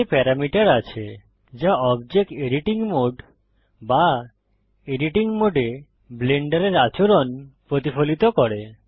এতে প্যারামিটার আছে যা অবজেক্ট এডিটিং মোড বা এডিটিং মোডে ব্লেন্ডারের আচরণ প্রতিফলিত করে